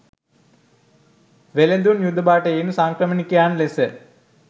වෙළෙඳුන්, යුද භටයින්, සංක්‍රමණිකයන් ලෙස